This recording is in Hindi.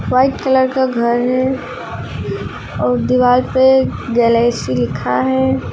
व्हाइट कलर का घर है और दीवार पे गैलेक्सी लिखा है।